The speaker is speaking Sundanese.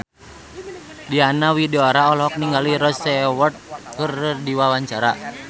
Diana Widoera olohok ningali Rod Stewart keur diwawancara